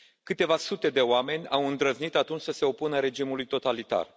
Câteva sute de oameni au îndrăznit atunci să se opună regimului totalitar.